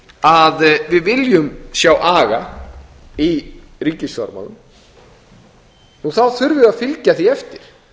að við viljum sjá aga í ríkisfjármálum þurfum við að fylgja því eftir